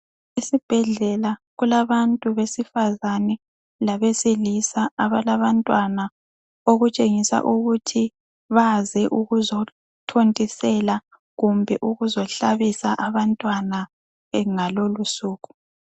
Esibhedlela kulabantu besifazane labesilisa abalabantwana okutshengisa ukuthi baze ukuzothontisela kumbe ukuzohlabisa abantwana ngalolo usuku.